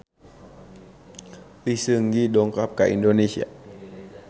Lee Seung Gi dongkap ka Indonesia